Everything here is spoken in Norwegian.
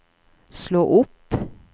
slå opp